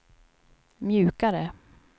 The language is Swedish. mjukare